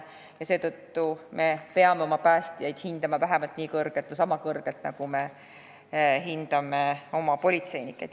Aga me peame oma päästjaid hindama sama kõrgelt, nagu me hindame oma politseinikke.